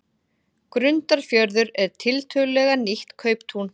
Grundarfjörður er tiltölulega nýlegt kauptún.